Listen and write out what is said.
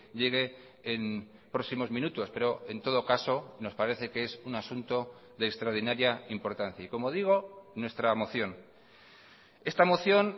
llegue en próximos minutos pero en todo caso nos parece que es un asunto de extraordinaria importancia y como digo nuestra moción esta moción